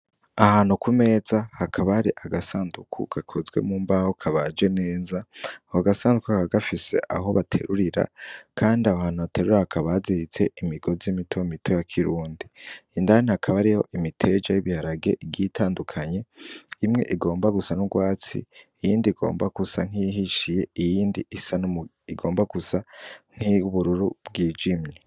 Ahantu ku meza hakaba hari agasandugu gakozwe mu mbaho kabaje neza, ako gasandugu kakaba gafise aho baterurira kandi aho hantu baterurira hakaba haziritse imigozi mito mito ya kirundi, indani hakaba hariho imiteja y'ibiharage igiye itandukanye, imwe igomba gusa n'ugwatsi, iyindi igomba gusa nk'iyihishiye, iyindi isa igomba gusa nk'iyubururu bwijimye.